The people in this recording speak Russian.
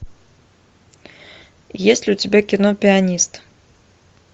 есть ли у тебя кино пианист